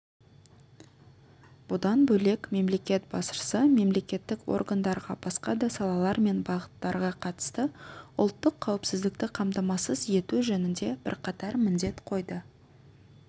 бұдан бөлек мемлекет басшысы мемлекеттік органдарға басқа да салалар мен бағыттарға қатысты ұлттық қауіпсіздікті қамтамасыз ету жөнінде бірқатар міндет қойды